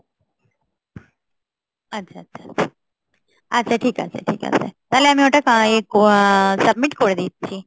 আচ্ছা, আচ্ছা, আচ্ছা, আচ্ছা, আচ্ছা ঠিক আছে, ঠিক আছে. তাহলে আমি ওটা submit করে দিচ্ছি